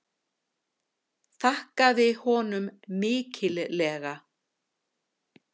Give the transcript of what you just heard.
Þakkaði honum mikillega.